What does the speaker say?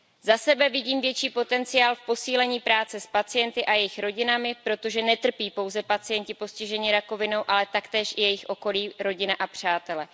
Za sebe vidím větší potenciál v posílení práce s pacienty a jejich rodinami, protože netrpí pouze pacienti postižení rakovinou, ale taktéž i jejich okolí, rodina a přátele.